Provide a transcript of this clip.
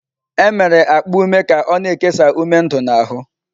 E mere akpa ume ka o-na ekesa ume ndu n'ahụ.